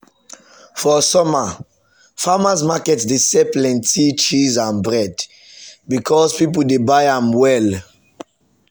for summer farmers market dey sell plenty cheese and bread because people dey buy am well.